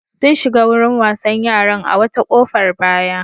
Sun shiga wurin wasan yaran a wata ƙofar baya.